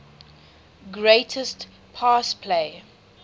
greatest pass play